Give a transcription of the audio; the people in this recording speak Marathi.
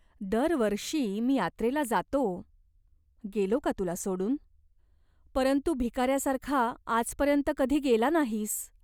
दरवर्षी मी यात्रेला जातो. गेलो का तुला सोडून ?" "परंतु भिकाऱ्यासारखा आजपर्यंत कधी गेला नाहीस.